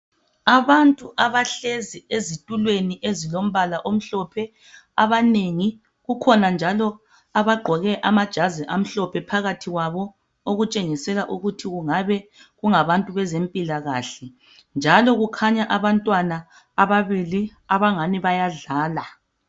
Abantu abahlezi ezithulweni ezilombala omhlophe abanengi. Kukhona njalo abagqoke amajazi amhlophe phakathi kwabo okutshengisela ukuthi kungabe kungabantu bezempilakahle njalo kukhanya abantwana ababili abangani bayadlala.